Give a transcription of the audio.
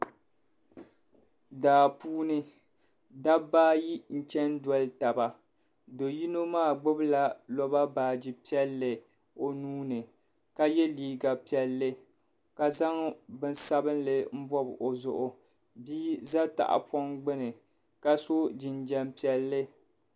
Daa puuni dabba ayi n chani doli taba do yino maa gbibi la loba baaji piɛlli o nuuni ka yɛ liiga piɛlli ka zaŋ bini sabinli n bobi o zuɣu bii za tahi pɔŋ gbuni ka so jinjam piɛlli